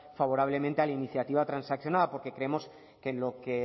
favorablemente a la iniciativa transaccionada porque creemos que en lo que